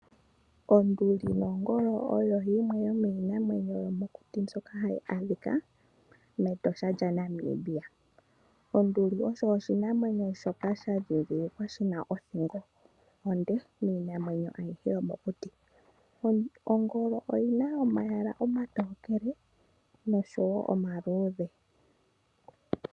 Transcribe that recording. Onduli nongolo oyo yimwe yomiinamwenyo yomokuti mbyoka hayi adhika mEtosha lyaNamibia. Onduli osho oshinamwemyo sha ndhindhilikwa shina othingo onde miinamwenyo ayihe yomokuti. Ongolo oyi na omayala omatokele noshowo omaludhe.